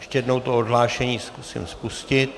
Ještě jednou to odhlášení zkusím spustit.